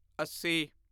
ਅੱਸੀ